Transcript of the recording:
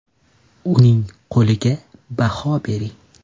Uning goliga baho bering.